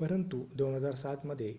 परंतु 2007 मध्ये